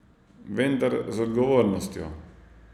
Vendar z odgovornostjo.